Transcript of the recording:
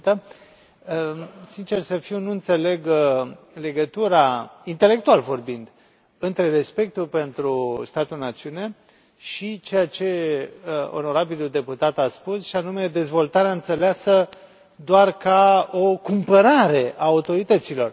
Doamnă președintă, sincer să fiu, nu înțeleg legătura intelectual vorbind între respectul pentru statul națiune și ceea ce onorabilul deputat a spus, și anume dezvoltarea înțeleasă doar ca o cumpărare a autorităților.